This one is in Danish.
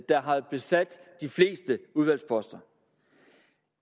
der havde besat de fleste udvalgsposter